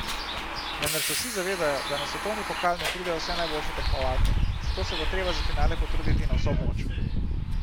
Vendar se vsi zavedajo, da na svetovni pokal ne pridejo vse najboljše tekmovalke, zato se bo treba za finale potruditi na vso moč.